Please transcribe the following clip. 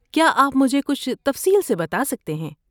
کیا آپ مجھے کچھ تفصیل سے بتا سکتے ہیں؟